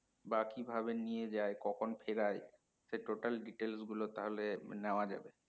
বা কিভাবে নিয়ে যায় কখন ফেরাই সেই total details গুলো তাহলে নেওয়া যাবে